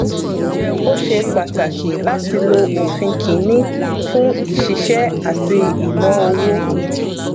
ó ṣe pàtàkì láti lo òfin kìnnì fún ìṣiṣẹ àti ìnáowó